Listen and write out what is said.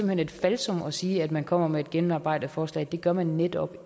hen et falsum at sige at man kommer med et gennemarbejdet forslag det gør man netop